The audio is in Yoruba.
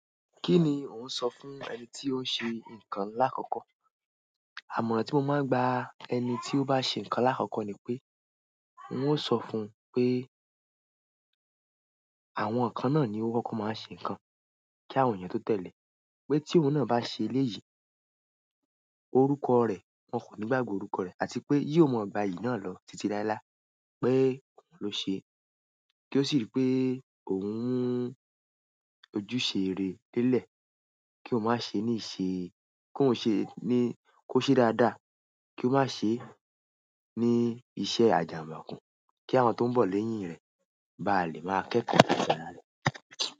Kí ni ò ń sọ fún ẹni tí ó ń ṣe nǹkan lákòókò? Àmọ̀ràn tí mo máa ń gba ẹni tí ó bá ṣe nǹkan lákòókò ni pé n ó sọ fún un pé àwọn nǹkan náà ni ó kọ kọ máa ṣe nǹkan kí àwọn eyàn tó tẹ̀lé. Pé tí òun náà bá ṣe eléyìí, orúkọ rẹ̀ wọn kò ní gbàgbe orúkọ rẹ̀ àti pé yóò mọ gba yìí náà lọ títí láéláé pé òun ló ṣe. Kí ó sì rí pé òun ni ojúṣere délẹ̀ kí ó má ṣe ní ṣe, kí ó ṣe ní kó ṣe dáadáa kí ó má ṣe ní iṣẹ́ àjàmùkú kí àwọn tó ń bọ̀ lẹ́yìn rẹ̀ bá lè máa kẹ́kọ̀ọ́ láta ra rẹ.